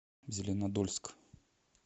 зеленодольск